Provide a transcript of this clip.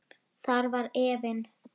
Þar var efinn.